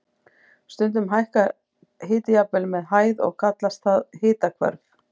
Stundum hækkar hiti jafnvel með hæð og kallast það hitahvörf.